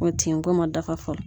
O tin ko ma dafa fɔlɔ.